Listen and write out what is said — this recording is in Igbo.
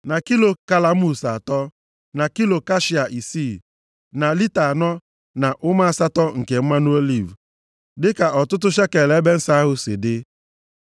na kilo kashia isii, na lita anọ na ụma asatọ nke mmanụ oliv, + 30:24 Ya bụ otu Hin dịka ọtụtụ shekel ebe nsọ ahụ si dị.